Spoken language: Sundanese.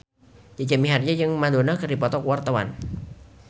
Jaja Mihardja jeung Madonna keur dipoto ku wartawan